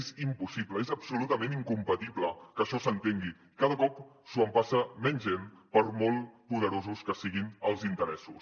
és impossible és absolutament incompatible que això s’entengui cada cop s’ho empassa menys gent per molt poderosos que siguin els interessos